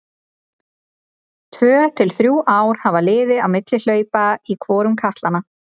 Tvö til þrjú ár hafa liðið á milli hlaupa í hvorum katlanna.